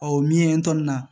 o min ye ntɔ nin na